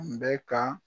Kun bɛ ka